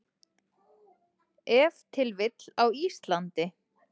Ef til vill á Íslandi.